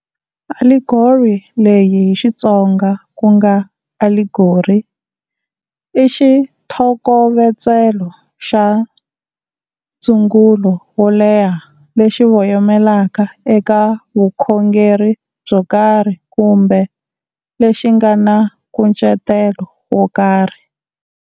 Allegory leyi hi Xitsonga ku nga aligori, i xithokovetselo xa ndzungulo wo leha lexi voyamelaka eka vukhongeri byo karhi kumbe lexi nga na nkucetelo wo karhi.